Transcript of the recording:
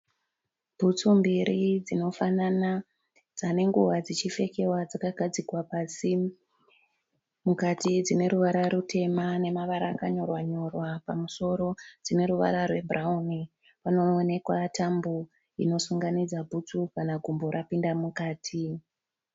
Bhutsu mbiri dzinofanana dzava nenguva dzichipfekiwa dzakagadzikwa pasi. Mukati dzineruvara rutema nemavara akanyorwa nyorwa pamusoro dzineruvara rwebhurauni. Panoonekwa tambo inosunganidza bhutsu kana gumbo rapinda mukati.